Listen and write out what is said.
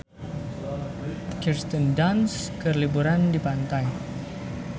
Kirsten Dunst keur liburan di pantai